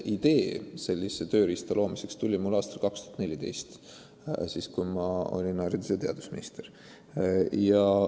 Idee sellise tööriista loomiseks tuli mul aastal 2014 ehk siis, kui ma olin haridus- ja teadusminister.